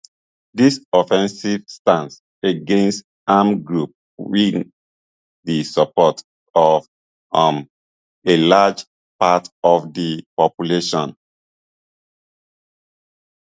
dis offensive stance against armed groups win di support of um a large part of di population